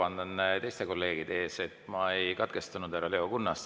Vabandan teiste kolleegide ees, et ma ei katkestanud härra Leo Kunnast.